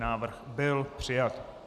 Návrh byl přijat.